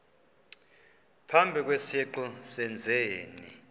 phambi kwesiqu sezenzi